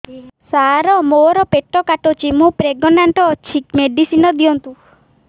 ସାର ମୋର ପେଟ କାଟୁଚି ମୁ ପ୍ରେଗନାଂଟ ଅଛି ମେଡିସିନ ଦିଅନ୍ତୁ